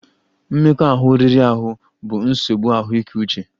Mmekọahụ riri ahụ bụ nsogbu ahụike uche